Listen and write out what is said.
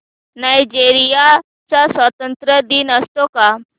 Nigeria चा स्वातंत्र्य दिन असतो का